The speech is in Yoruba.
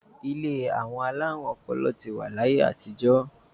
Ilé àwọn alárùn ọpọlọ ti wà ní ayé àtijọ́